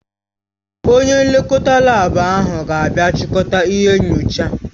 Onye nlekọta laabu ahụ ga-abịa chịkọta ihe nyochaa.